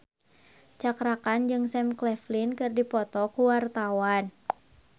Cakra Khan jeung Sam Claflin keur dipoto ku wartawan